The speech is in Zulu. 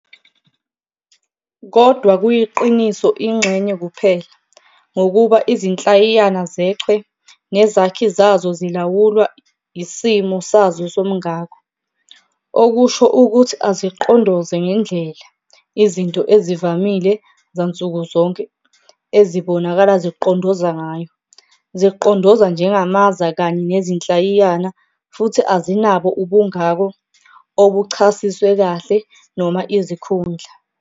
Kodwa kuyiqiniso ingxenye kuphela, ngokuba izinhlayiyana zechwe nezakhi zazo zilawulwa isimo sazo somngako, okusho ukuthi azicondoze ngendlela izinto ezivamile zansuku zonke ezibonakala zicondoza ngayo - zicondoza njengamaza kanye nezinhlayiyana futhi azinabo ubungako obuchasiswe kahle noma izikhundla.